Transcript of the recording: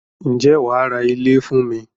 Ǹjẹ́ wàá ra ilé fún mi?